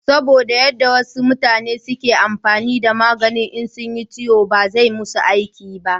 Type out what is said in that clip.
saboda yan da wasu mutane suke amfani da magani in sunyi ciwo ba zai musu aiki ba